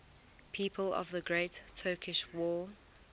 people of the great turkish war